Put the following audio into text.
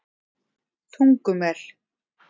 Tungumel